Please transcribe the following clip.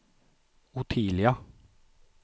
Ottilia